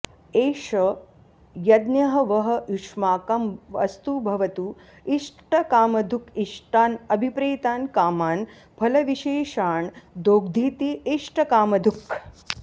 एष यज्ञः वः युष्माकं अस्तु भवतु इष्टकामधुक् इष्टान् अभिप्रेतान् कामान् फलविशेषान् दोग्धीति इष्टकामधुक्